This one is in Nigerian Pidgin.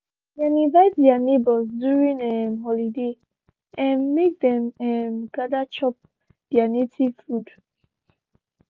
dem invite their neighbors during um holiday um make them um gather chop there native food.